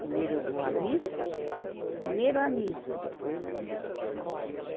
Primeiro eu vou à missa, primeiro a missa, depois a, a festa.